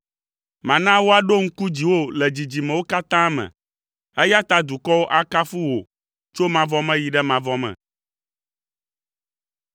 Mana woaɖo ŋku dziwò le dzidzimewo katã me, eya ta dukɔwo akafu wò tso mavɔ me yi ɖe mavɔ me.